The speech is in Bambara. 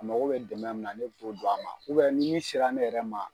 A mago bɛ dɛmɛ min na ne bi to do a ma ni min sera ne yɛrɛ ma